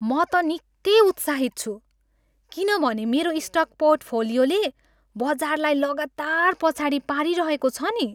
म त निकै उत्साहित छु किनभने मेरो स्टक पोर्टफोलियोले बजारलाई लगातार पछाडि पारिरहेको छ नि।